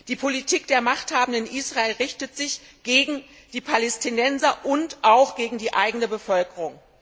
Die Politik der Machthabenden in Israel richtet sich gegen die Palästinenser und auch gegen die eigene Bevölkerung.